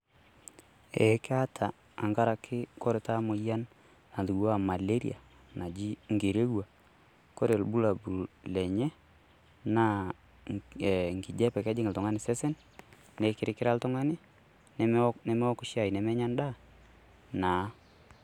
Ee kaata tenkaraki ore taata emoyian natupukuo aa maleria naji enkererua, ore ilbulabul lenye naa enkijiape, kejing' oltung'ani esesen neikiririra oltung'ani nemeok shaii nemenya endaa naa.